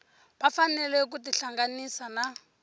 va fanele ku tihlanganisa na